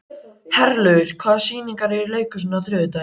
Herlaugur, hvaða sýningar eru í leikhúsinu á þriðjudaginn?